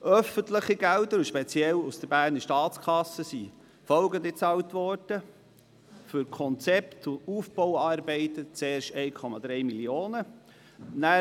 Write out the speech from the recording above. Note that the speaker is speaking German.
Öffentliche Gelder, speziell aus der Berner Staatskasse, sind folgende bezahlt worden: für das Konzept und die Aufbauarbeiten zuerst 1,3 Mio. Franken.